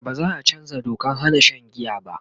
baza'a chanzaa Dokan Hana Shan giya ba